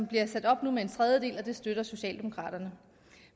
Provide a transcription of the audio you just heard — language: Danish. bliver sat op med en tredjedel og det støtter socialdemokraterne